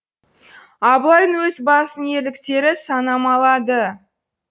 абылайдың өз басының ерліктері санамалады